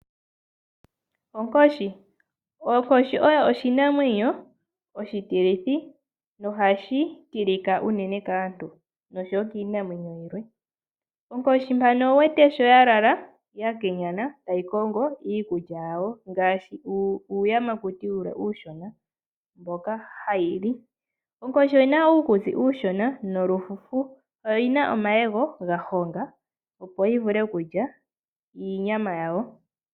Onkoshi, onkoshi oyo oshinamwenyo oshitilithi no hashi tilika uunene kaantu noshowo kiinamwenyo yilwe. Onkoshi oya lala ya kenyana tayi kongo iikulya yawo ngaashi uuyamakuti uushona mboka hayi li. Onkoshi oyina uukutsi uushona nomafufu nomayego ga honga, opo yi vule okulya uunyama wayo.